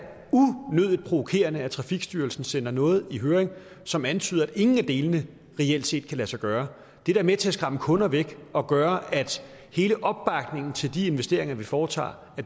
unødigt provokerende at trafikstyrelsen sender noget i høring som antyder at ingen af delene reelt set kan lade sig gøre det er da med til at skræmme kunder væk og gør at hele opbakningen til de investeringer vi foretager